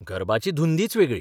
गरबाची धुंदीच वेगळी.